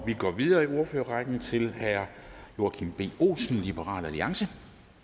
og vi går videre i ordførerrækken til herre joachim b olsen liberal alliance